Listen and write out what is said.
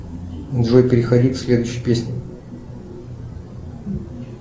джой переходи к следующей песне